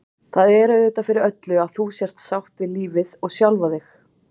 Það er auðvitað fyrir öllu að þú sért sátt við lífið og sjálfa þig.